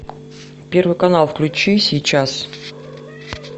первый канал включи сейчас